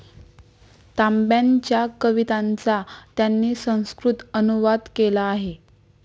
तांब्यांच्या कवितांचा त्यांनी संस्कृत अनुवाद केला आहे.